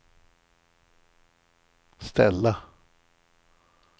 ställa